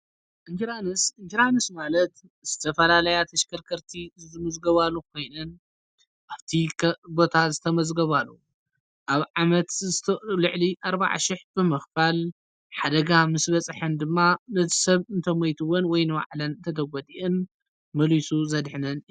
እንሹራንስ እንሽራንስ ማለት ዝተፈላለያ ተሽከርከርቲ ዝዘምዘገባሉ ኾይንን ኣብቲ ቦታ ዝተመዘገባሉ ኣብ ዓመት ልዕሊ ኣርዓሽሕ ብምኽፋል ሓደጋ ምስ በጽሐን ድማ ነዝ ሰብ እንተመይትውን ወይ ንውዕለን ተተወዲአን መሊሱ ዘድኅነን እዮ።